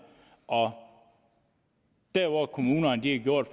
og der hvor kommunerne har gjort